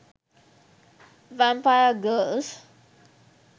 vampire girls